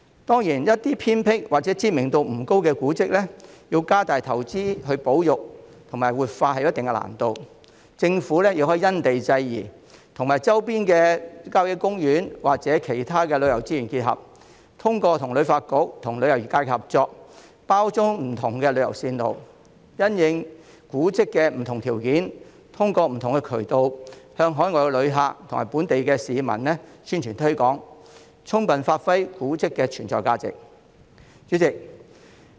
當然，對於一些偏僻或知名度不高的古蹟，要加大投資進行保育和活化確實有一定難度，政府亦可因地制宜，結合周邊的郊野公園或其他旅遊資源，通過與香港旅遊發展局及旅遊業界合作，將古蹟包裝成不同的旅遊路線，並因應古蹟的特點，藉各種渠道向海外旅客及本地市民宣傳和推廣，使古蹟的存在價值得以充分發揮。